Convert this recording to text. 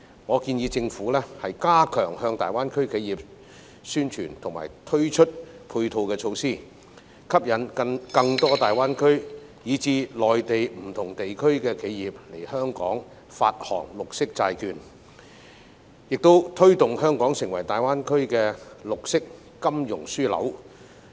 我建議政府加強向大灣區企業宣傳及推出配套措施，吸引更多大灣區以至內地不同地區的企業來香港發行綠色債券，亦推動香港成為大灣區的綠色金融樞紐。